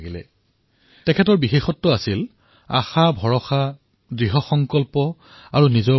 নীৰজ মহোদয়ৰ এটা বিশেষত্ব আছিল আশা ভৰসা দৃঢ়সংকল্প আৰু আত্মবিশ্বাস